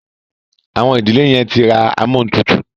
Àwọn ìdílé yen tí rá Amóhuntutù.